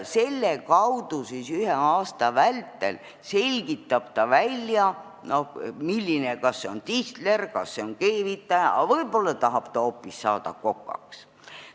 Selle kaudu siis ta selgitab ühe aasta vältel välja, milline elukutse talle sobib, kas see on tisler, kas see on keevitaja, aga võib-olla ta tahab saada hoopis kokaks.